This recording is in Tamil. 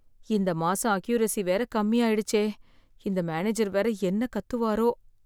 இந்த மாசம் அக்யுரசி வேற கம்மி ஆயிடுச்சே. இந்த மேனேஜர் வேற என்ன கத்துவரோ